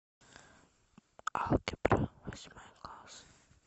алгебра восьмой класс